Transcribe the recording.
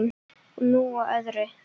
Og nú að öðru.